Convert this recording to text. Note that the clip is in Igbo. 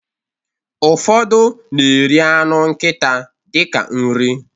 Ụfọdụ na-eri anụ nkita dịka nri